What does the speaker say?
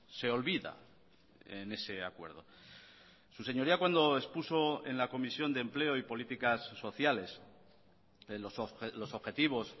se olvida en ese acuerdo su señoría cuando expuso en la comisión de empleo y políticas sociales los objetivos